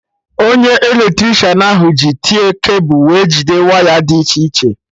Onye Eletricịanahụ ji tie cable wee jide waya dị iche iche